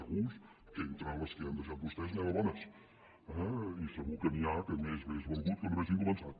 segur que entre les que han deixat vostès n’hi ha de bones i segur que n’hi ha que més hauria valgut que no haguessin començat